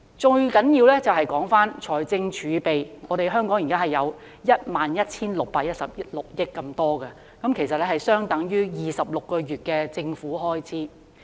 最重要的是，香港現在擁有財政儲備 11,616 億元之多，相等於26個月的政府開支。